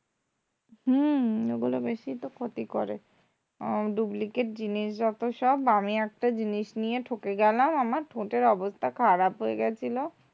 হম ওগুলো বেশিই তো ক্ষতি করে আহ duplicate জিনিস যত সব আমি একটা জিনিস নিয়ে ঠকে গেলাম আমার ঠোঁটের অবস্থা খারাপ হয়ে গেছিলো,